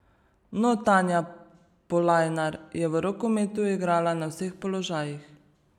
No, Tanja Polajnar je v rokometu igrala na vseh položajih.